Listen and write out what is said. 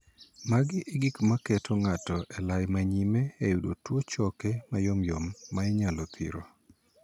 Magi e gik ma keto ng'ato e lai ma nyime e yudo tuo choke mayomyom ma inyalo thiro.